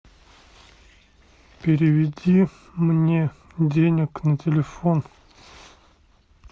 переведи мне денег на телефон